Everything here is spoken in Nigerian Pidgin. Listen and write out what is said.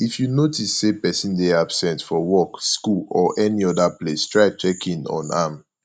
if you notice say persin de absent for work school or any other place try check in on am